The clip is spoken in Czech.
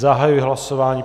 Zahajuji hlasování.